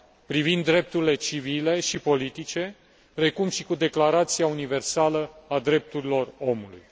privind Drepturile Civile și Politice, precum și cu Declarația Universală a Drepturilor Omului.